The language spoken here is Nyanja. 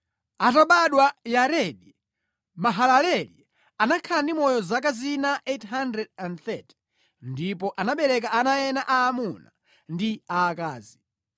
Atabadwa Yaredi, Mahalaleli anakhala ndi moyo zaka zina 830 ndipo anabereka ana ena aamuna ndi aakazi.